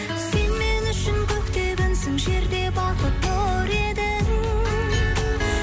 сен мен үшін көкте күнсің жерде бақыт нұр едің